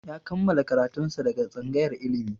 Ya kammala karatun sa daga tsangayar ilimi